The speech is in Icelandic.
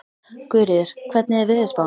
Guðríður, hvernig er veðurspáin?